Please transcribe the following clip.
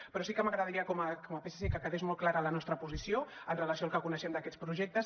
però sí que m’agradaria com a psc que quedés molt clara la nostra posició amb relació al que coneixem d’aquests projectes